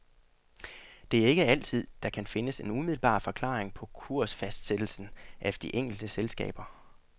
Det er ikke altid, der kan findes en umiddelbar forklaring på kursfastsættelsen af de enkelte selskaber.